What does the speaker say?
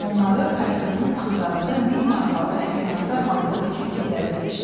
Onları kostyumunun astarında min markalıq əskinazlar halında tikib gizlədibmiş.